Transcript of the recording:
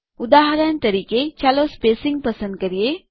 ઉદાહરણ તરીકે ચાલો સ્પેસિંગ પસંદ કરીએ